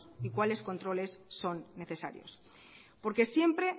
y cuáles controles son necesarios porque siempre